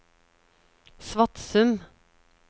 Svatsum